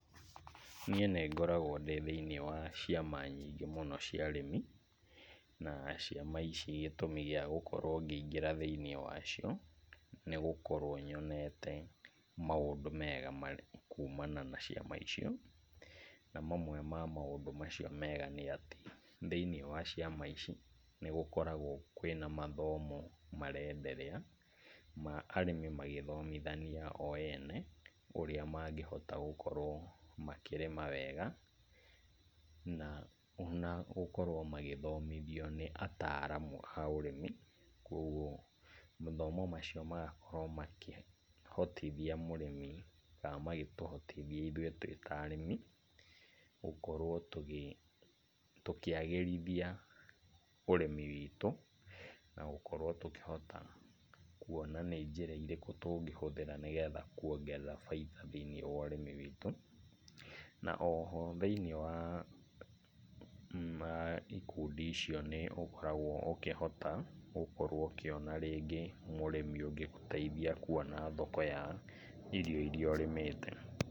Niĩ nĩngoragwo ndĩthĩinĩ wa ciama nyingĩ mũno cia arĩmi. Na ciama ici gĩtũmi gĩa gũkorwo ngĩingĩra thĩinĩ wacio nĩgũkorwo nyonete maũndũ mega kuumana na ciama icio. Na mamwe wa maũndũ macio mega nĩatĩ, thĩinĩ wa ciama ici, nĩgũkoragwo kwĩna mathomo marenderea, ma arĩmĩ magĩthomithania o ene, ũrĩa mangĩhota gũkorwo makĩrĩma wega, na onagũkorwo magĩthomithio nĩ ataramu a ũrĩmi. Koguo mathomo macio magakorwo makĩhotithia mũrĩmi kana makĩtũhotithia ithuĩ twĩta arĩmi, gũkorwo tũkĩagĩrithia ũrĩmi witũ, na gũkorwo tũkĩhota kuona nĩ njĩra irĩkũ tũngĩhũthĩra nĩgetha kuongerera bainda thĩinĩ wa ũrĩmi witũ. Naoho, thĩinĩ wa ikundi icio nĩ ũkoragwo ũkĩhota gũkorwo ũkĩona rĩngĩ mũrĩmi ũngĩgũteithia kwona thoko ya irio iria ũrĩmite.